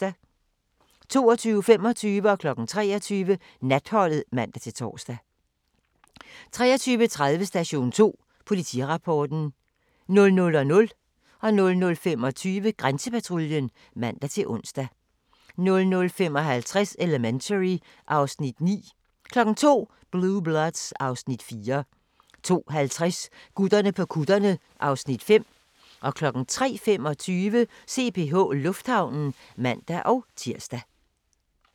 22:25: Natholdet (man-tor) 23:00: Natholdet (man-tor) 23:30: Station 2: Politirapporten 00:00: Grænsepatruljen (man-ons) 00:25: Grænsepatruljen (man-ons) 00:55: Elementary (Afs. 9) 02:00: Blue Bloods (Afs. 4) 02:50: Gutterne på kutterne (Afs. 5) 03:25: CPH Lufthavnen (man-tir)